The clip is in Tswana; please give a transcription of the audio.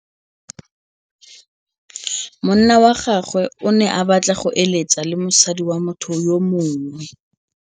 Monna wa gagwe o ne a batla go êlêtsa le mosadi wa motho yo mongwe.